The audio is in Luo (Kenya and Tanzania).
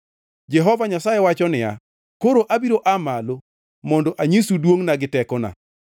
Jehova Nyasaye wacho niya, “Koro abiro aa malo, mondo anyisu duongʼna gi tekona.